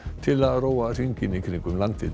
til að róa hringinn í kringum landið